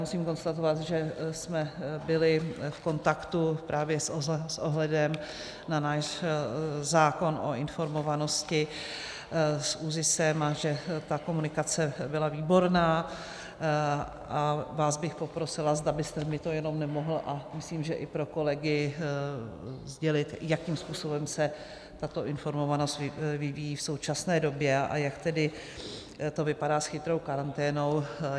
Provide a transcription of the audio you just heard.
Musím konstatovat, že jsme byli v kontaktu právě s ohledem na náš zákon o informovanosti s ÚZISem a že ta komunikace byla výborná, a vás bych poprosila, zda byste mi to jenom nemohl - a myslím, že i pro kolegy - sdělit, jakým způsobem se tato informovanost vyvíjí v současné době a jak tedy to vypadá s chytrou karanténou.